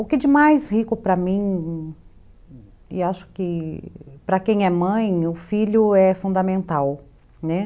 O que de mais rico para mim, e acho que para quem é mãe, o filho é fundamental, né.